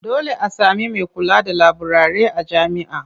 Dole a sami mai kula da laburare a jami'a.